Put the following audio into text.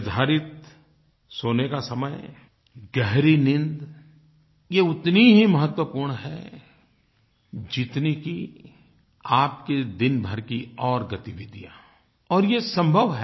निर्धारित सोने का समय गहरी नींद ये उतनी ही महत्वपूर्ण है जितनी कि आपकी दिन भर की और गतिविधियाँ और ये संभव है